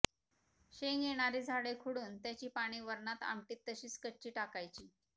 शेंग येणारी झाडे खुडुन त्याची पाने वरणात आमटीत तशीच कच्ची टाकायची